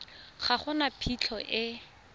ga go na phitlho e